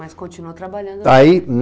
Mas continuou trabalhando? Ai...